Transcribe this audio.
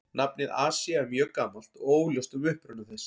Nafnið Asía er mjög gamalt og óljóst um uppruna þess.